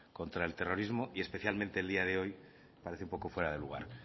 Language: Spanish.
contra el terrorismo y especialmente el día de hoy parece un poco fuera de lugar